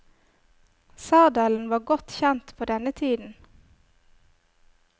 Sadelen var godt kjent på denne tiden.